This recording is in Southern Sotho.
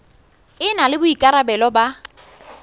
e na le boikarabelo ba